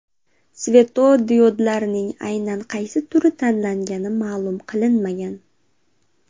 Svetodiodlarning aynan qaysi turi tanlangani ma’lum qilinmagan.